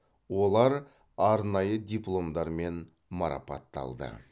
олар арнайы дипломдармен марапатталды